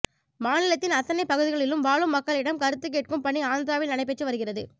மாநிலத்தின் அத்தனைப் பகுதிகளிலும் வாழும் மக்களிடம் கருத்து கேட்கும் பணி ஆந்திராவில் நடைபெற்று வருகிறது